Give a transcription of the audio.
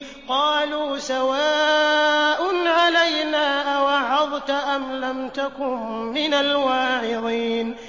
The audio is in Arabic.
قَالُوا سَوَاءٌ عَلَيْنَا أَوَعَظْتَ أَمْ لَمْ تَكُن مِّنَ الْوَاعِظِينَ